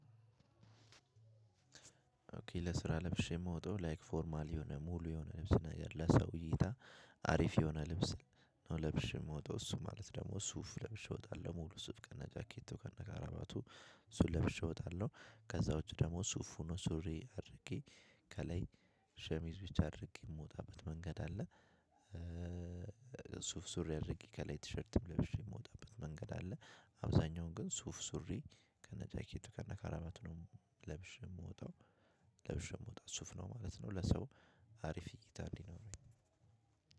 ኦኬ ለስራ ለብሼ ምወጣው ላይክ ፎርማል የሆነ ሙሉ የሆነ ልብስ ነገር ለሰው እይታ አሪፍ የሆነ ልብስ ነው ለብሼ ምወጣው እሱ ማለት ደግሞ ሱፍ ለብሼ እወጣለሁ ሙሉ ሱፍ ከነጃኬቱ ከነካራባቱ። እሱን ለብሼ እወጣለሁ ከዛ ውጭ ደግሞ ሱፍ ሆኖ ሱሪ አድርጌ ከላይ ሸሚዝ ብቻ አድርጌ ምወጣበት መንገድ አለ። ሱፍ ሱሪ አድርጌ ከላይ ቲሸርትም ለብሼ ምወጣበት መንገድ አለ። አብዛኛውን ግን ሱፍ ሱሪ ከነጃኬቱ ከነካራመት ነው ለብሼ ምወጣው። ለብሼ ምወጣው ሱፍ ነው ማለት ነው። ለሰው አሪፍ እይታ እንዲኖረኝ